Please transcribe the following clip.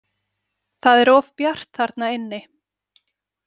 Það er of bjart þarna inni.